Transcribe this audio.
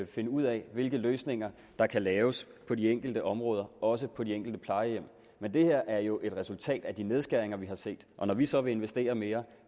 finde ud af hvilke løsninger der kan laves på de enkelte områder og også på de enkelte plejehjem men det her er jo et resultat af de nedskæringer vi har set og når vi så vil investere mere